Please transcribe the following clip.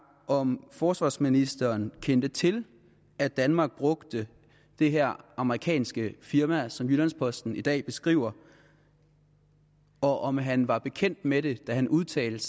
om forsvarsministeren kendte til at danmark brugte det her amerikanske firma som jyllands posten i dag beskriver og om han var bekendt med det da han udtalte